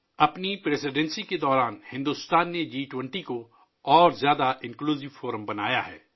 اپنی صدارت کے دوران ، بھارت نے جی 20 کو ایک زیادہ جامع فورم بنایا ہے